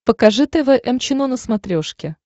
покажи тэ вэ эм чено на смотрешке